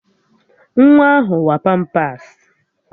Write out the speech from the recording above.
Nwa ahụ wa pampas